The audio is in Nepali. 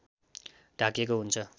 ढाकिएको हुन्छ